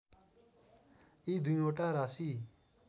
यी दुईवटा राशि